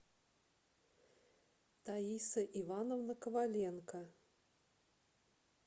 таиса ивановна коваленко